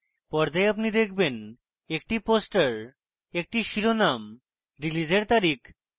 পর্দায় আপনি দেখবেনএকটি পোস্টার একটি শিরোনাম রিলিজের তারিখ